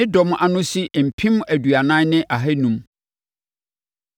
Ne dɔm ano si mpem aduanan ne ahanum (40,500).